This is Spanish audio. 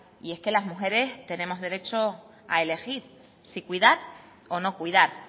y es que las mujeres tenemos derecho a elegir si cuidar o no cuidar